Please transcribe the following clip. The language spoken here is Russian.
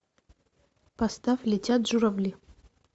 поставь летят журавли